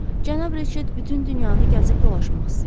Cənab Reçet bütün dünyanı gəzib dolaşmaq istəyirdi.